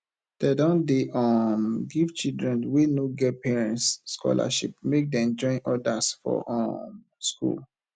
dem don dey um give children wey no get parents scholarship make dem join others for um skool